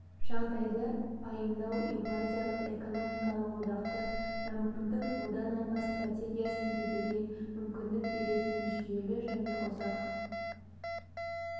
жағдайды пайымдау еуразиялық экономикалық одақты дамытудың одан арғы стратегиясын түзуге мүмкіндік беретін жүйелі және ұзақ